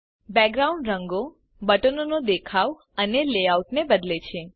background રંગો બટનો નો દેખાવ અને લેઆઉટ બદલે છે